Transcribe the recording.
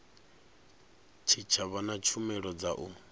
tshitshavha na tshumelo dza u